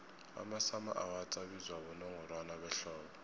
amasummer awards abizwa bonongorwana behlobo